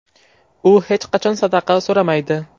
U hech qachon sadaqa so‘ramaydi.